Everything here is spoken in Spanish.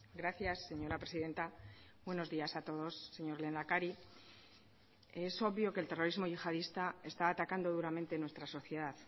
gracias señora presidenta buenos días a todos señor lehendakari es obvio que el terrorismo yihadista está atacando duramente nuestra sociedad